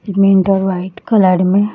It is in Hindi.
मैन डोर व्हाईट कलर में है।